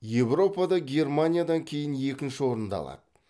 еуропада германиядан кейін екінші орынды алады